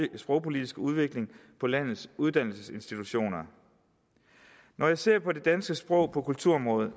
sprogpolitiske udvikling på landets uddannelsesinstitutioner når jeg ser på det danske sprog på kulturområdet